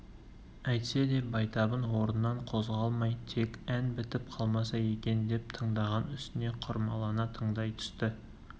әйтсе де байтабын орнынан қозғалмай тек ән бітіп қалмаса екен деп тыңдаған үстіне құмарлана тыңдай түсті